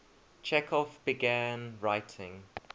chekhov began writing